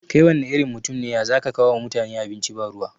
Kai wanne irin mutum ne ya zaka kawo wa mutane abinci ba ruwa